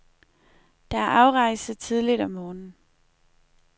Der er afrejse tidligt om morgenen.